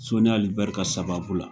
Soni Ali Bɛri ka sababu la.